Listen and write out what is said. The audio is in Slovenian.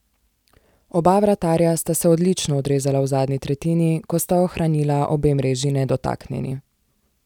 Oba vratarja sta se odlično odrezala v zadnji tretjini, ko sta ohranila obe mreži nedotaknjeni.